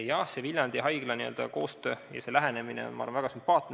Jah, see Viljandi haigla koostöö ja selline lähenemine on väga sümpaatne.